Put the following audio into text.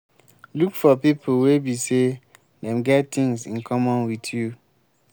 look for pipo wey be sey them get things in common with you